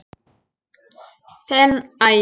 Þinn Ægir.